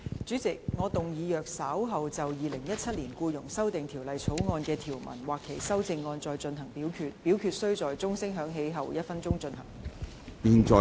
主席，我動議若稍後就《2017年僱傭條例草案》所提出的條文或其修正案再進行點名表決，表決須在鐘聲響起1分鐘後進行。